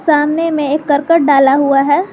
सामने में एक करकट डाला हुआ है।